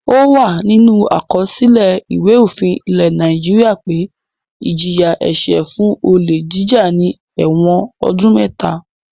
Ó wà nínú àkọsílẹ̀ Ìwé-òfin ilẹ̀ Nàìjíríà pé ìjìyà-ẹ̀ṣẹ̀ fún olè jíjà ni ẹ̀wọ̀n ọdún mẹ́ta.